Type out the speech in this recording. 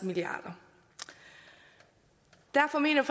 milliarder derfor mener